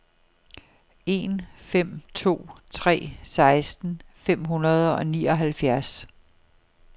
en fem to tre seksten fem hundrede og nioghalvfjerds